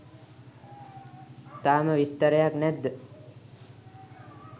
තාම විස්තරයක් නැද්ද?